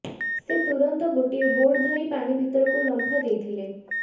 ସେ ତୁରନ୍ତ ଗୋଟିଏ ବୋର୍ଡ ଧରି ପାଣି ଭିତରକୁ ଲମ୍ଫ ଦେଇଥିଲେ